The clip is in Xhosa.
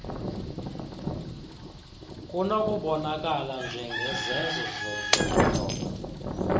kunokubonakala njengezenzo zokunyoba